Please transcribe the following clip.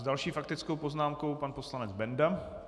S další faktickou poznámkou pan poslanec Benda.